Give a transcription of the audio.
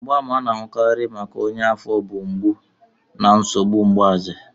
Mgbaàmà ndị a na-ahụkarị nke ọnya afo bụ mgbu na nsogbu mgbaze.